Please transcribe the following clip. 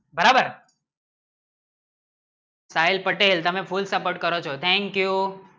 બરાબર સાહિલ પટેલ તમે full support કરું ચુ thank you